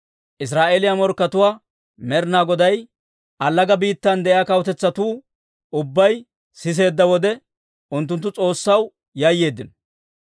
Israa'eeliyaa morkkatuwaa Med'inaa Goday allaga biittan de'iyaa kawutetsatuu ubbay siseedda wode, unttunttu S'oossaw yayyeeddino.